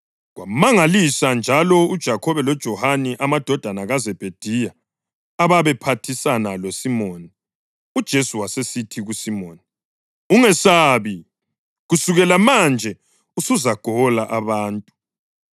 kwamangalisa njalo uJakhobe loJohane amadodana kaZebhediya, ababe phathisana loSimoni. UJesu wasesithi kuSimoni, “Ungesabi; kusukela manje usuzagola abantu.”